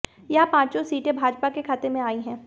यहां पांचों सीटें भाजपा के खाते में आई हैं